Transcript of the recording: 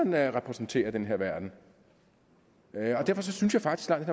man repræsenterer i den her verden derfor synes jeg faktisk langt